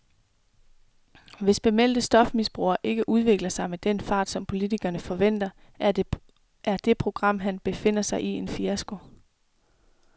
Hvis bemeldte stofmisbrugere ikke udvikler sig med den fart, som politikerne forventer, er det program, han befinder sig i, en fiasko.